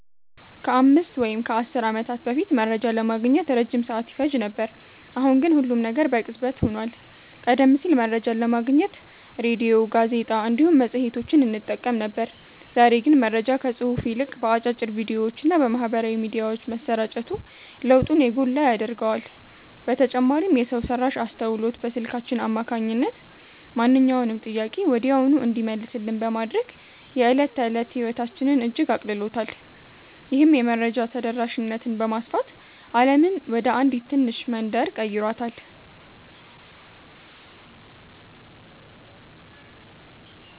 ከአምስት ወይም ከአሥር ዓመታት በፊት መረጃ ለማግኘት ረጅም ሰዓት ይፈጅ ነበር፤ አሁን ግን ሁሉም ነገር በቅጽበት ሆኗል። ቀደም ሲል መረጃን ለማግኘት ሬድዮ፣ ጋዜጣ እንዲሁም መጽሔቶችን እንጠቀም ነበር፤ ዛሬ ግን መረጃ ከጽሑፍ ይልቅ በአጫጭር ቪዲዮዎችና በማኅበራዊ ሚዲያዎች መሰራጨቱ ለውጡን የጎላ ያደርገዋል። በተጨማሪም የሰው ሠራሽ አስተውሎት በስልካችን አማካኝነት ማንኛውንም ጥያቄ ወዲያውኑ እንዲመለስልን በማድረግ የዕለት ተዕለት ሕይወታችንን እጅግ አቅልሎታል። ይህም የመረጃ ተደራሽነትን በማስፋት ዓለምን ወደ አንዲት ትንሽ መንደር ቀይሯታል።"